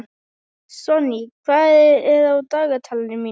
Sonný, hvað er á dagatalinu mínu í dag?